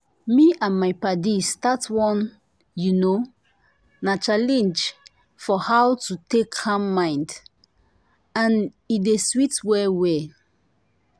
me and my paddies start one you know na challenge for how to take calm mind and e dey sweet well well.